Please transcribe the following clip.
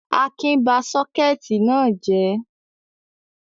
Akin ba sọ́kẹ́tì náà jẹ̀ ẹ́?